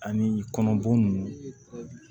Ani kɔnɔboli